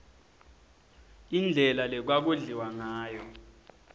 indlela lekwaku dliwangayo